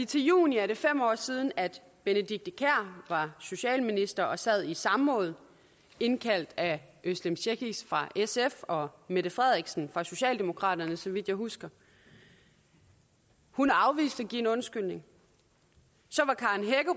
til juni er det fem år siden at benedikte kiær var socialminister og sad i samråd indkaldt af özlem cekic fra sf og mette frederiksen fra socialdemokraterne så vidt jeg husker hun afviste at give en undskyldning